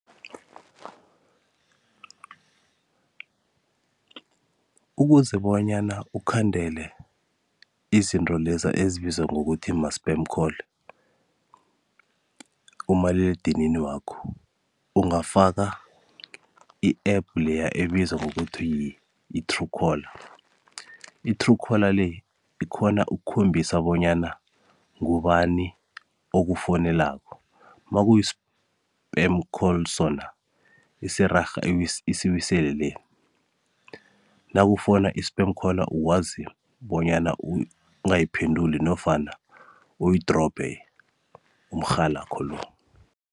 Ukuze bonyana ukhandele izinto leza ezibizwa bona ma-spam call kumaliledinini wakho, ungafaka i-app leya ebizwa bona yi-true caller. I-Truecaller le, ikghona ukukhombisa bonyana ngubani okufonelako. Makusi-spam call sona, isirarha isiwisele le. Nakufona i-spam call ukwazi bonyana ungayiphenduli nofana uyidrobhe, umrhalakho lo.